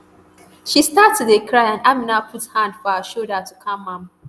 she start to dey cry and amina put hand for her shoulder to calm am